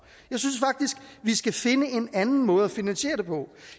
jeg synes vi skal finde en anden måde at finansiere det på